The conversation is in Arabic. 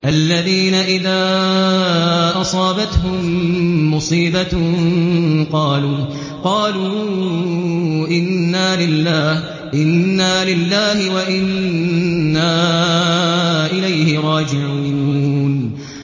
الَّذِينَ إِذَا أَصَابَتْهُم مُّصِيبَةٌ قَالُوا إِنَّا لِلَّهِ وَإِنَّا إِلَيْهِ رَاجِعُونَ